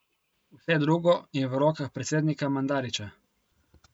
Vse drugo je v rokah predsednika Mandarića.